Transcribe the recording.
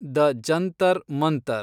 the Jantar Mantar